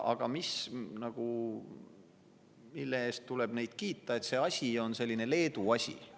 Aga neid tuleb kiita selle eest, et see asi on selline Leedu asi.